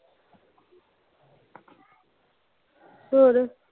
ਹੋਰ